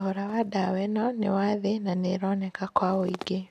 Thogora wa dawa ĩno nĩ wathĩ na nĩ ĩroneka kwa ũingĩ